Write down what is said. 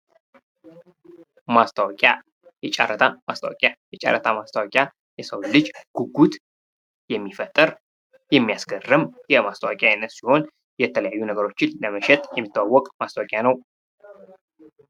ማስታወቂያ የጨረታ ማስታወቂያ የሰውን ልጅ ጉጉት የሚፈጥር፤ የሚያስገርም የማስታወቂያ አይነት ሲሆን የተለያዩ ነገሮችን ለመሸጥ የሚታወቅ ማስታወቂያ ነው።